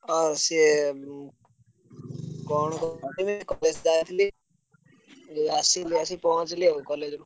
ଅ ସିଏ ଉଁ କଣ college ଯାଇଥିଲି। ଯୋଉ ଆସିଲି ଏବେ ଆସି ପହଁଞ୍ଚିଲି ଆଉ college ରୁ।